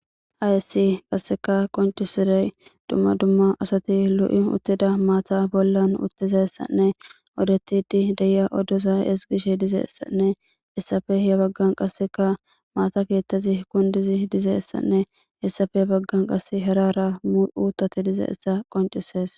Haayessi qasseka qoncisirey dumma dumma asati lo'i uttida maata bollan uttizessanne odetidi deya oddosa esgishe dizeessanne hessafe ye baggan qasseka maata keettezi kundizi dizeessanne hessafe baggan qas herara mu'utate dizeessa qoncisees